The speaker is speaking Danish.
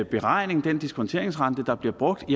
beregning den diskonteringsrente der bliver brugt